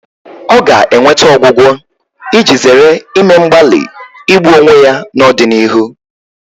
Ọ ga-enweta ọgwụgwọ iji zere ime mgbalị igbu onwe ya n'ọdịnihu